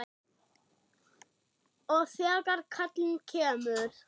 Og þegar kallið kemur.